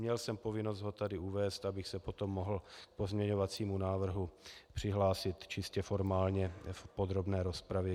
Měl jsem povinnost ho tady uvést, abych se potom mohl k pozměňovacímu návrhu přihlásit čistě formálně v podrobné rozpravě.